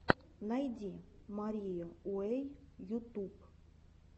найти марию уэй ютуб